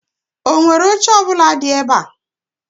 Enwere oche ọ bụla nu ebe?